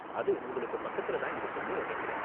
அது உங்களுக்கு பக்கத்துல தான் இருக்கும்னு நினைக்கறேன்.